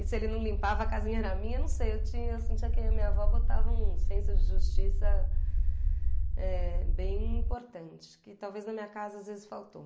E se ele não limpava, a casinha era minha, não sei, eu tinha, eu sentia que a minha avó botava um senso de justiça eh bem importante, que talvez na minha casa às vezes faltou.